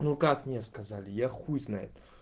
ну как мне сказали я хуй знает